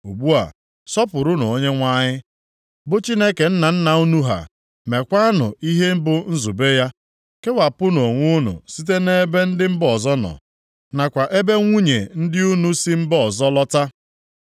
Ugbu a, sọpụrụnụ Onyenwe anyị, bụ Chineke nna nna unu ha, meekwanụ ihe bụ nzube ya. Kewapụnụ onwe unu site nʼebe ndị mba ọzọ nọ, nakwa ebe nwunye ndị unu si mba ọzọ lụta.”